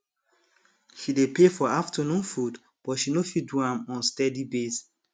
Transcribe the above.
she dey pay for afternoon food but she no fit do am on steady base